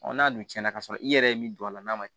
n'a dun tiɲɛna ka sɔrɔ i yɛrɛ ye min don a la n'a ma